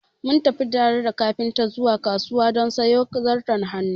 Mun tafi tare da kafinta zuwa kasuwa don sayo zarton hannu